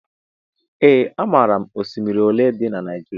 Ee amaara m oshimiri olé dị n' Naijiria.